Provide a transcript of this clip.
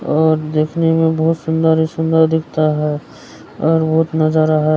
और देखने में बहुत सुंदर-सुंदर दिखता है और बहुत नजारा है --